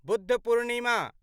Buddha Purnima